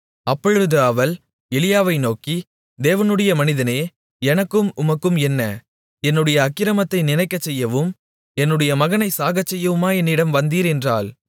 அப்பொழுது அவள் எலியாவை நோக்கி தேவனுடைய மனிதனே எனக்கும் உமக்கும் என்ன என்னுடைய அக்கிரமத்தை நினைக்கச்செய்யவும் என்னுடைய மகனைச் சாகச்செய்யவுமா என்னிடம் வந்தீர் என்றாள்